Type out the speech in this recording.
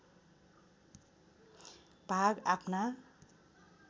भाग आफ्ना